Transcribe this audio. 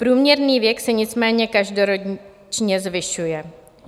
Průměrný věk se nicméně každoročně zvyšuje.